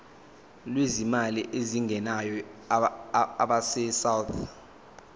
lwezimali ezingenayo abesouth